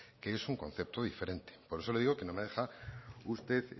que es un concepto diferente por eso le digo que no me deja usted